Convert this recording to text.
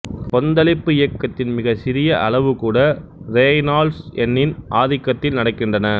கொந்தளிப்பு இயக்கத்தின் மிகச்சிறிய அளவு கூட ரேய்னால்ட்ஸ் எண்ணின் ஆதிக்கத்தில் நடக்கின்றன